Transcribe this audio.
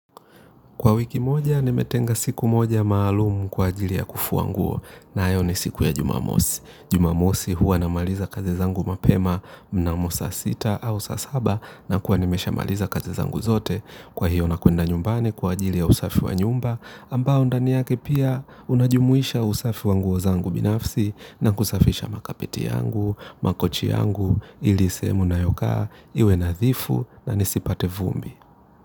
Kwa wiki moja nimetenga siku moja maalumu kwa ajili ya kufua nguo nayo ni siku ya jumamosi. Jumamosi huwa namaliza kazi zangu mapema mnamo saa sita au saa saba nakuwa nimeshamaliza kazi zangu zote. Kwa hiyo nakwenda nyumbani kwa ajili ya usafi wa nyumba ambao ndani yake pia unajumuisha usafi wa nguo zangu binafsi na kusafisha makapeti yangu, makochi yangu, ili sehemu ninayokaa iwe nadhifu na nisipate vumbi.